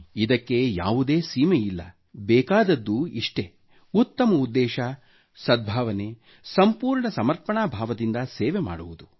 ಇದಕ್ಕೆ ಯಾವುದೇ ಸೀಮೆಯಿಲ್ಲ ಬೇಕಾದದ್ದು ಇಷ್ಟೆ ಉತ್ತಮ ಉದ್ದೇಶ ಸದ್ಭಾವನೆ ಸಂಪೂರ್ಣ ಸಮರ್ಪಣಾಭಾವದಿಂದ ಸೇವೆ ಮಾಡುವುದು